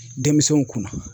Denmisɛnw kunna.